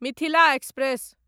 Mithila express